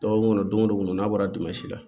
Dɔgɔkun kɔnɔ don go don n'a bɔra dingɛ si la